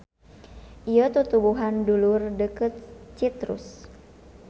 Ieu tutuwuhan dulur deukeut Citrus.